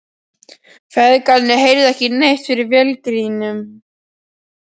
Feðgarnir heyrðu ekki neitt fyrir vélargnýnum.